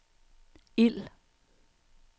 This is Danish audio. ild